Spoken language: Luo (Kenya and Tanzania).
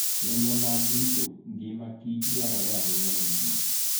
Chenro mag rito ngima kichdwarore ahinya ne kich